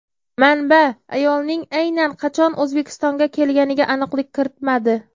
Manba ayolning aynan qachon O‘zbekistonga kelganiga aniqlik kiritmadi.